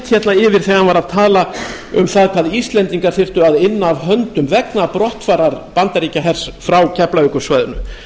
yfir þegar hann var að tala um það hvað íslendingar þyrftu að inna af höndum vegna brottfarar bandaríkjahers frá keflavíkursvæðinu